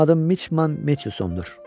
Mənim adım Miçman Metsusondur.